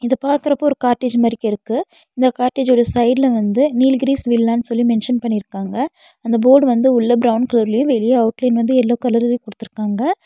இத பாக்குறப்போ ஒரு கார்டேஜ் மாரிகிருக்கு இந்த கார்டேஜோட சைடுல வந்து நீல்கிரிஸ் வில்லானு சொல்லி மென்ஷன் பண்ணிருக்காங்க அந்த போர்டு வந்து உள்ள பிரவுன் கலர்லயு வெளிய அவுட் லைன் வந்து எல்லோ கலர்லயு குடுத்துருக்காங்க.